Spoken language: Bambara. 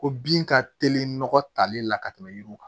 Ko bin ka teli nɔgɔ tali la ka tɛmɛ yiriw kan